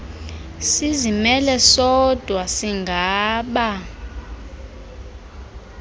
sizimele sodwa singaba